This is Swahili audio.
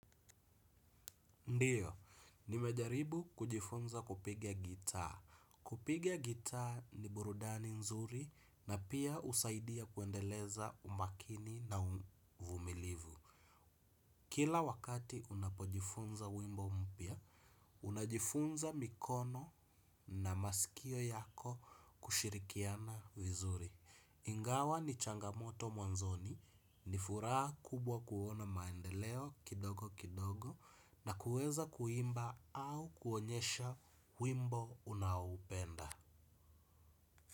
Ndiyo, nimejaribu kujifunza kupiga gitaa. Kupiga gitaa ni burudani nzuri na pia husaidia kuendeleza umakini na uvumilivu. Kila wakati unapojifunza wimbo mpya, unajifunza mikono na masikio yako kushirikiana vizuri. Ingawa ni changamoto mwanzoni, nifuraha kubwa kuona maendeleo kidogo kidogo na kuweza kuimba au kuonyesha wimbo unaoupenda.